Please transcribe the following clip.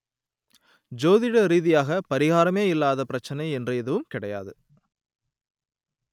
ஜோதிட ரீதியாக பரிகாரமே இல்லாத பிரச்சனை என்று எதுவும் கிடையாது